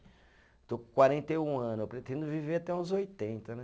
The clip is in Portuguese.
Estou com quarenta e um ano, eu pretendo viver até uns oitenta, né?